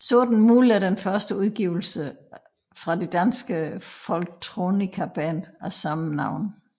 Sorten Muld er den første udgivelse fra det danske folktronicaband af samme navn